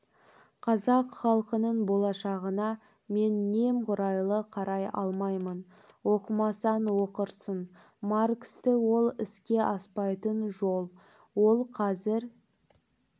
қазақ халқының болашағына мен немғұрайды қарай алмаймын оқымасаң оқырсың марксті ол іске аспайтын жол ол қазір